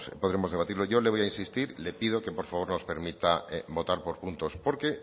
podremos debatirlo yo le voy a insistir le pido que por favor nos permita votar por puntos porque